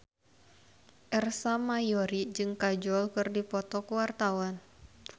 Ersa Mayori jeung Kajol keur dipoto ku wartawan